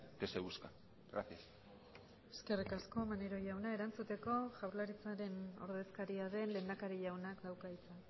que se busca gracias eskerrik asko maneiro jauna erantzuteko jaurlaritzaren ordezkaria den lehendakari jaunak dauka hitza